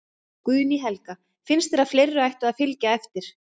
Guðný Helga: Finnst þér að fleiri ættu að, að fylgja eftir?